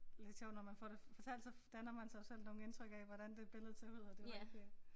Lidt sjovt når man får det fortalt så danner man sig jo selv nogle indtryk af hvordan det billedet ser ud og det var ikke øh